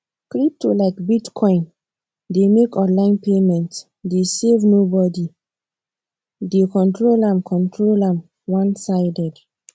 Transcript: crypto like bitcoin dey make online payment dey save nobody dey control am control am onesided